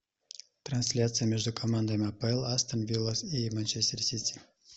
трансляция между командами апл астон вилла и манчестер сити